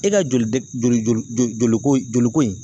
E ka joli dɛ joli joli joli ko joliko in